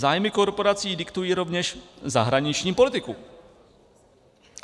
Zájmy korporací diktují rovněž zahraniční politiku.